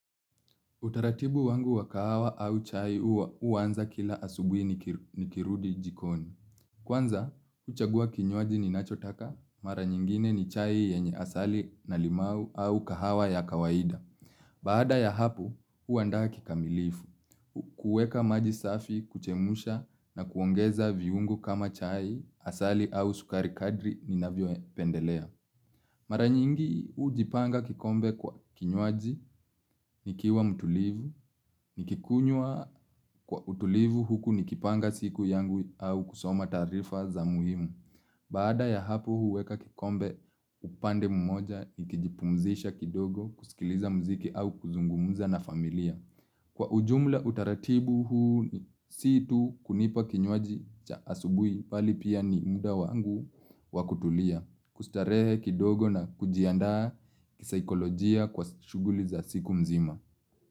Utaratibu wangu wa kahawa au chai huwa huanza kila asubuhi nikirudi jikoni. Kwanza, huchagua kinywaji ninachotaka, mara nyingine ni chai yenye asali na limau au kahawa ya kawaida. Baada ya hapo, huandaa kikamilifu, kuweka maji safi, kuchemusha na kuongeza viungo kama chai, asali au sukari kadri ninavyo pendelea. Mara nyingi hujipanga kikombe kwa kinywaji, nikiwa mtulivu, nikikunywa kwa utulivu huku nikipanga siku yangu au kusoma taarifa za muhimu. Baada ya hapo huweka kikombe upande mmoja, nikijipumzisha kidogo, kusikiliza mziki au kuzungumuza na familia. Kwa ujumla utaratibu huu si tu kunipa kinywaji cha asubuhi mbali pia ni muda wangu wakutulia. Kustarehe kidogo na kujiandaa kisaikolojia kwa shughuli za siku mzima.